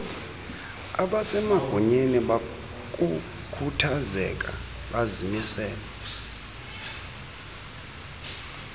abasemagunyeni bakukhuthazeka bazimisele